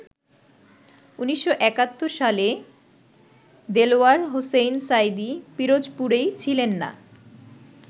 ১৯৭১ সালে দেলাওয়ার হোসেইন সাঈদী পিরোজপুরেই ছিলেন না।